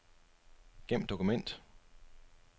Gem dokument.